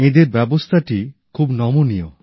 এঁদের ব্যবস্থাটি খুব নমনীয়